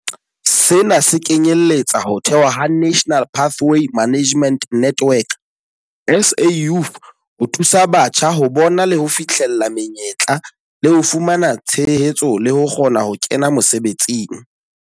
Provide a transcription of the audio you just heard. Sena se kenyeletsa ho thehwa ha National Pathway Management Network, SA Youth, ho thusa batjha ho bona le ho fihlella menyetla le ho fumana tshehetso le ho kgona ho kena mosebetsing.